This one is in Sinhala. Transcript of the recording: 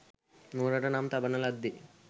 නුවරට නම් තබන ලද්දේ